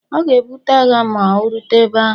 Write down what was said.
ọ ga-ebute agha ma o rute ebe ahu